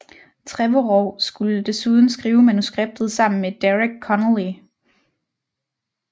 Trevorrow skulle desuden skrive manuskriptet sammen med Derek Connolly